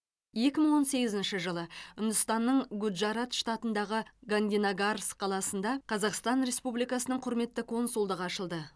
екі мың он сегізінші жылы үндістанның гуджарат штатындағы гандинагарс қаласында қазақстан республикасының құрметті консульдығы ашылды